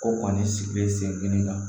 Ko kɔni sigilen sen kelen kan